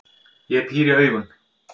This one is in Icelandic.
Ég píri augun.